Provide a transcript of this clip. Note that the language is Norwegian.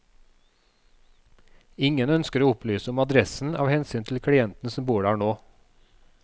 Ingen ønsker å opplyse om adressen av hensyn til klienten som bor der nå.